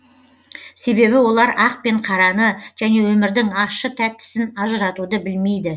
себебі олар ақ пен қараны және өмірдің ащы тәттісін ажыратуды білмейді